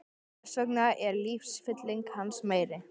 Þess vegna er lífsfylling hans meiri.